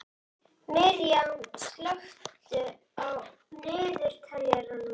Miriam, slökktu á niðurteljaranum.